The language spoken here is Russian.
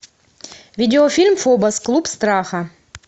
видеофильм фобос клуб страха